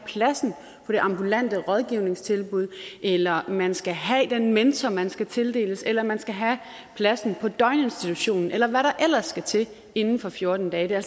plads på et ambulant rådgivningstilbud eller at man skal have den mentor man skal tildeles eller at man skal have plads på daginstitutionen eller hvad der ellers skal til inden for fjorten dage det er